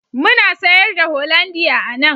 Muna sayar da hollandia a nan